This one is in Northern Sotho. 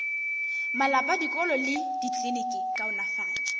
malapa dikolo le dikliniki kaonafatšo